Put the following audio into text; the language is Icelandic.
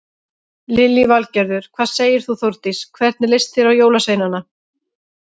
Lillý Valgerður: Hvað segir þú Þórdís, hvernig leist þér á jólasveinana?